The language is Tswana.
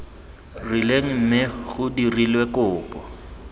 rileng mme cgo dirilwe kopo